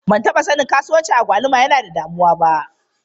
Ban taɓa sanin kasuwancin agwaluma yana da damuwa ba.